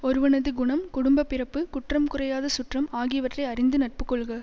ஒருவனது குணம் குடும்ப பிறப்பு குற்றம் குறையாத சுற்றம் ஆகியவற்றை அறிந்து நட்பு கொள்க